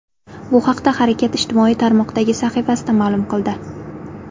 Bu haqda harakat ijtimoiy tarmoqdagi sahifasida ma’lum qildi .